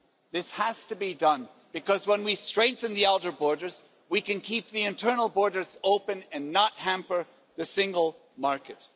This has to be done, because when we strengthen the outer borders, we can keep the internal borders open and not hamper the single market.